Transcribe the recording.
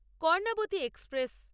Karnavati express